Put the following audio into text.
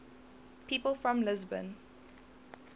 people from lisbon